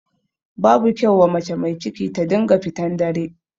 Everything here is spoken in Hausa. Babu kyau wa mace mai ciki ta dinga fitan dare.